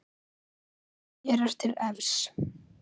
Mér er til efs.